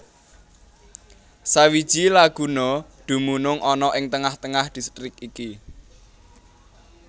Sawiji laguna dumunung ana ing tengah tengah distrik iki